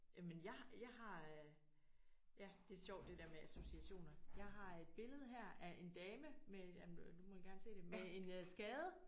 Jamen jeg jeg har ja det er sjovt det der med associationer jeg har et billede her af en dame med jamen du må gerne se det med en skade